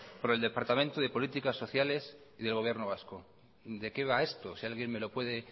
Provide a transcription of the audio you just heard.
por el departamento de política sociales y del gobierno vasco de qué va esto si alguien me lo puede